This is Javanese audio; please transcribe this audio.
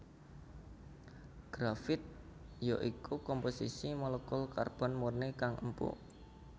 Grafit ya iku komposisi molekul karbon murni kang empuk